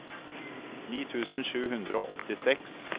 ni tusen sju hundre og åttiseks